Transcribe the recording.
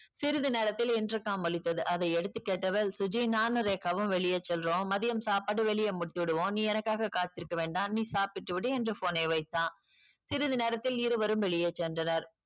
சிறுது நேரத்தில் intercom ஒலித்தது அதை எடுத்து கேட்டவள் சுஜி நானும் ரேகாவும் வெளியே செல்றோம். மதியம் சாப்பாடு வெளியே முடித்து விடுவோம். நீ எனக்காக காத்திருக்க வேண்டாம் நீ சாப்பிட்டு விடு என்று phone ஐ வைத்தான். சிறிது நேரத்தில் இருவரும் வெளியே சென்றனர்.